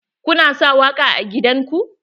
Kuna sa waƙa a gidan ku?